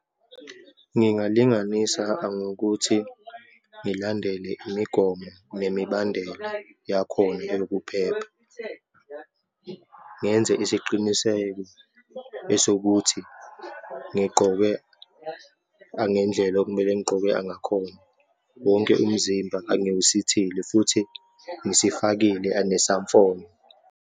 Ngingalinganisa angokuthi ngilandele imigomo nemibandela yakhona yokuphepha, ngenze isiqiniseko esokuthi ngigqoke angendlela okumele ngigqoke angakhona, wonke umzimba angiwusithile futhi ngisifakile anesamfonyo.